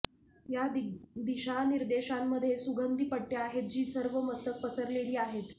या दिशानिर्देशांमधे सुगंधी पट्टे आहेत जी सर्व मस्तक पसरलेली आहेत